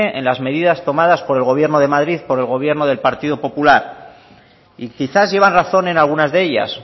en las medidas tomadas por el gobierno de madrid por el gobierno del partido popular y quizás llevan razón en algunas de ellas